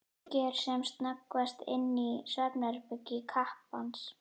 Kíkir sem snöggvast inn í svefnherbergi kappans.